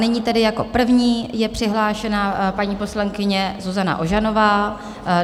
Nyní tedy jako první je přihlášena paní poslankyně Zuzana Ožanová.